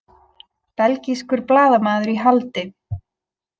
Belgískur blaðamaður í haldi